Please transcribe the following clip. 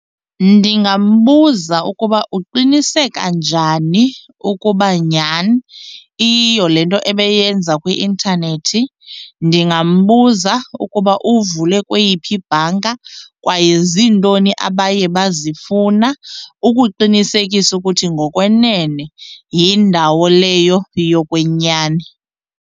Ndingambuza ukuba uqiniseka njani ukuba nyhani iyiyo le nto ebeyenza kwi-intanethi. Ndingambuza ukuba uthi uvule kweyiphi ibhanka kwaye ziintoni abaye bazifuna ukuqinisekisa ukuthi ngokwenene yindawo leyo yokwenyani.